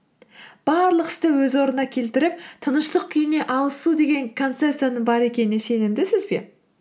барлық істі өз орнына келтіріп тыныштық күйіне алысу деген концепцияның бар екеніне сенімдісіз бе